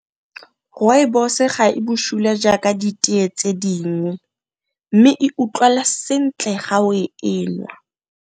Rooibos ga e busula jaaka di tee tse ding, mme e utlwala sentle ga o e nwa.